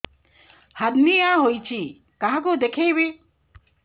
hernia ହୋଇଛି କାହାକୁ ଦେଖେଇବି